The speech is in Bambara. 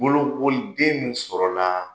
Bolokoliden min sɔrɔla